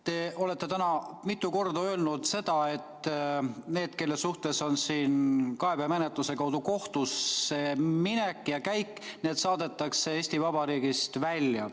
Te olete täna mitu korda öelnud seda, et need, kelle suhtes on kaebemenetluse tõttu kohtusseminek, need saadetakse Eesti Vabariigist välja.